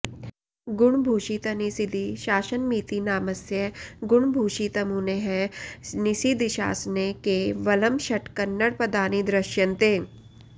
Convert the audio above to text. गुणभूषितनिसिदि शासनमिति नामस्य गुणभूषितमुनेः निसिदिशासने के वलं षट् क न्नडपदानि दृश्यन्ते